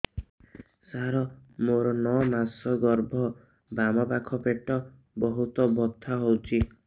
ସାର ମୋର ନଅ ମାସ ଗର୍ଭ ବାମପାଖ ପେଟ ବହୁତ ବଥା ହଉଚି